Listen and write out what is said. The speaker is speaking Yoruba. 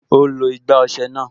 Ó lo igbá ọsẹ náà